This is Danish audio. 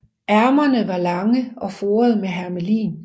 Ærmerne var lange og foret med hermelin